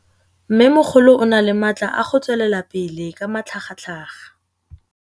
Mmêmogolo o na le matla a go tswelela pele ka matlhagatlhaga.